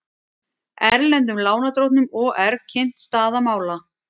Erlendum lánardrottnum OR kynnt staða mála